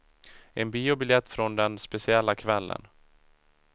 En biobiljett från den speciella kvällen.